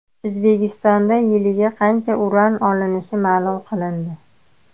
O‘zbekistonda yiliga qancha uran olinishi ma’lum qilindi.